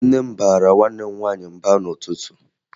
Nne m baara nwanne m nwaanyị mba n'ụtụtụ